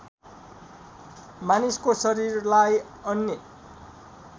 मानिसको शरीरलाई अन्य